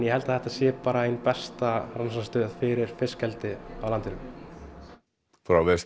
held að þetta sé bara ein besta rannsóknastöð fyrir fiskeldi á landinu